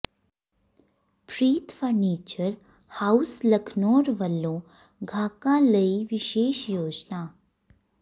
ਪ੍ਰੀਤ furniture house Lakhnaur ਵਲੋਂ ਗਾਹਕਾਂ ਲਈ ਵਿਸ਼ੇਸ਼ ਯੋਜਨਾ